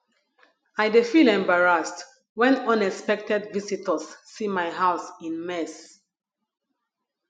i dey feel embarrassed when unexpected visitors see my house in mess